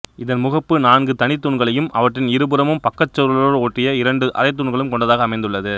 இதன் முகப்பு நான்கு தனித் தூண்களையும் அவற்றின் இரு புறமும் பக்கச் சுவர்களோடு ஒட்டிய இரண்டு அரைத்தூண்களும் கொண்டதாக அமைந்துள்ளது